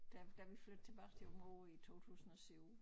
Da da vi flyttede tilbage til Aabenraa i 2007